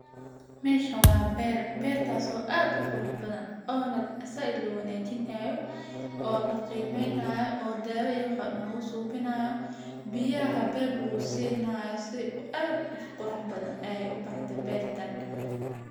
Meshan wa ber , bertas oo ad u qurux bathan oo na zaid lo wanajinayo , oo laqimeynayo oo dawa iyo wax walbo lagusameynayo, biyaha beeb lagusinayo. Si ad u qurux bathan ay u baxdhe bertan.